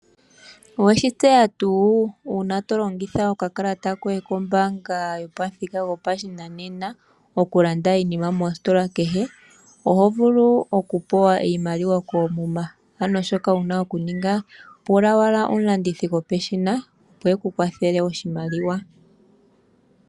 Oweshi tseya tuu? Uuna tolongitha okakalata koye kombaanga yopamuthika gopashinanena okulanda iinima moositola kehe, oho vulu okupewa iimaliwa koomuma . Ano shoka wuna okuninga pula omulandithi gwopeshina opo yeku kwathele oshimaliwa .